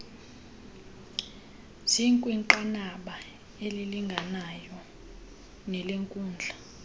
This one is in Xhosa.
zikwinqanaba elilinganayo nelenkundla